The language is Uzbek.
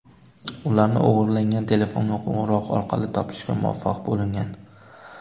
Ularni o‘g‘irlangan telefonga qo‘ng‘iroq orqali topishga muvaffaq bo‘lingan.